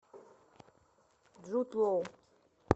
джуд лоу